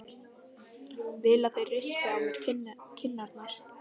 Vil að þeir rispi á mér kinnarnar.